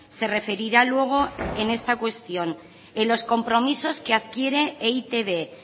se referirá luego en esta cuestión en los compromisos que adquiere e i te be